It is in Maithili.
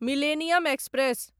millennium express